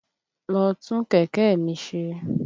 Lọ tún kẹ̀kẹ́ mi ṣe!